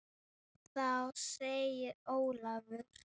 Þá segir Ólafur